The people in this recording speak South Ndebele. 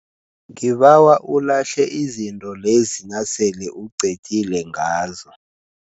Ngibawa ulahle izinto lezi nasele uqedile ngazo.